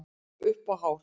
Upp á hár.